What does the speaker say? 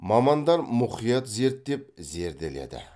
мамандар мұқият зерттеп зерделеді